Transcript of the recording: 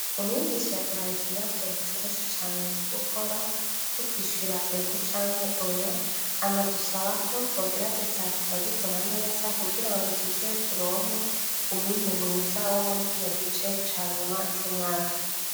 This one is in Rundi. Umwigisha yaduhaye ikibazo coroshe cane co gukora c'ukwishura ego canke oya anadusaba ko twogerageza tukagikora neza kugira ngo tuzeturonke umwimbu mwiza wo muri ikino gice canyuma c'umwaka.